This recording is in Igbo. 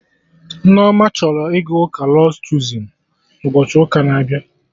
Nneoma chọrọ ịga ụka Lọds Chozun na ụbochi ụka na abịa